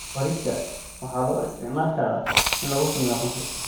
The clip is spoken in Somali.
Bariiska waxaa loo isticmaali karaa in lagu sameeyo khamri.